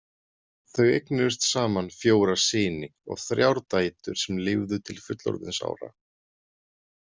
Þau eignuðust saman fjóra syni og þrjár dætur sem lifðu til fullorðinsára.